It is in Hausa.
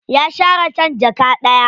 Ya sha raken jaka ɗaya.